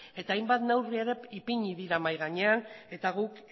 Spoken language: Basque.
eta hainbat neurri ere ipini dira mahai gainean eta guk